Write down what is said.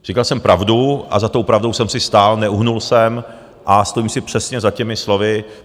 Říkal jsem pravdu a za tou pravdou jsem si stál, neuhnul jsem a stojím si přesně za těmi slovy.